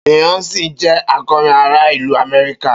Beyonce jẹ akọrin ara ilu Amẹrika.